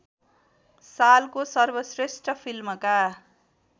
सालको सर्वश्रेष्ठ फिल्मका